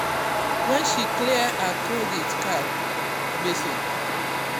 um when she clear her credit card um gbese